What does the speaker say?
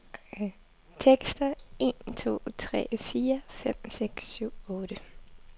Tester en to tre fire fem seks syv otte.